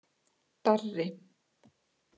Darri